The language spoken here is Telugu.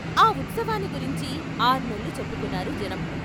ఆ ఉత్సవాన్ని గురించి ఆర్నెల్లు చెప్పుకున్నారు జనం.